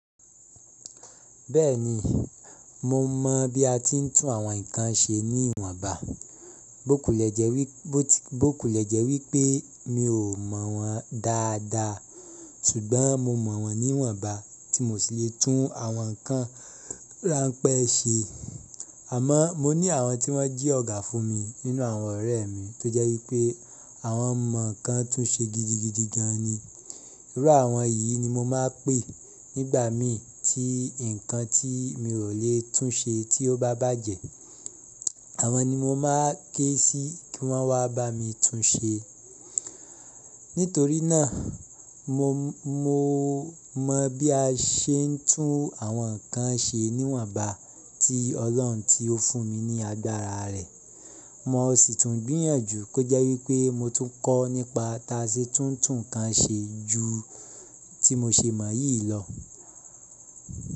Bẹ́ẹ̀ni, mo mọ̀ bí a ti ń tún àwọn nǹkan ṣe ní ìwọnba. Bokulẹ̀jẹ̀ wípé mi ò mọ̀ wọ́n dáadáa ṣùgbọ́n mo mọ̀ wọ́n níwọ̀nba tí mò ṣì lè tún àwọn nǹkan ráńpẹ́ ṣe. Àmọ́ mo ní àwọn tí wọ́n jí ọ̀gá fún mi nínú àwọn ọ̀rẹ́ mi tó jẹ́ wípé àwọn mọ̀ nǹkan tún ṣe gidigidi gan ni. Irú àwọn yìí ni mo máa ń pè nígbà mi tí nǹkan tí mi ò lè tún ṣe tí ó bá bàjẹ́. Àwọn ni mo máa ń ké sí kí wọ́n wá bá mi tún ṣe. Nítorí náà mo mọ̀ bí a ṣe ń tún àwọn nǹkan ṣe níwọ̀nba tí Ọlọ́run tí ó fún mi ní agbára rẹ̀. Mo sì tún gbìyànjú kó jẹ́ wípé mo tún kọ́ nípa táa ṣe tún nǹkan ṣe ju tí mo ṣe mọ̀ yìí lọ.